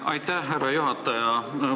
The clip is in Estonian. Aitäh, härra juhataja!